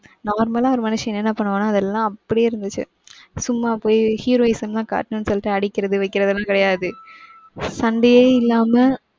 Normal ஆ ஒரு மனுஷன் என்னென்ன பண்ணுவானோ அதெல்லாம் அப்டியே இருந்துச்சு. சும்மா போய் heroism லாம் காட்டணும்னு சொல்லிட்டு அடிக்கிறது வைக்கிறதுலாம் கிடையாது. சண்டையே இல்லாம,